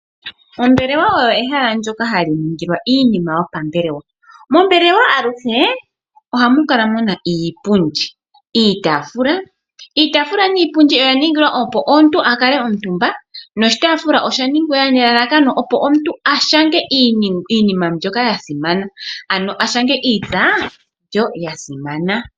Ombelewa oyo ehala ndyoka hali ningilwa iinima yopambelewa. Mombelewa aluhe ohamu kala muna iipundi, iitaafula. Iitaafula niipundi oya ningilwa opo omuntu akale omutumba. Noshitaafula osha ningilwa nelalakano opo omuntu a shange iinima mbyoka yasimana ano a shange iitsa mbyo ya simana.